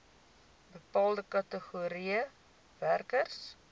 bepaalde kategorieë werkers